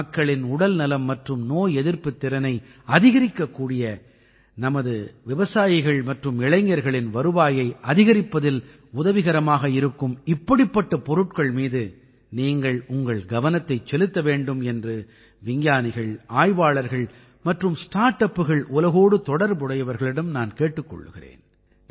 மக்களின் உடல்நலம் மற்றும் நோய் எதிர்ப்புத் திறனை அதிகரிக்கக்கூடிய நமது விவசாயிகள் மற்றும் இளைஞர்களின் வருவாயை அதிகரிப்பதில் உதவிகரமாக இருக்கும் இப்படிப்பட்ட பொருட்கள் மீது நீங்கள் உங்கள் கவனத்தைச் செலுத்த வேண்டும் என்று விஞ்ஞானிகள் ஆய்வாளர்கள் மற்றும் ஸ்டார்ட் அப்கள் உலகோடு தொடர்புடையவர்களிடம் நான் கேட்டுக் கொள்கிறேன்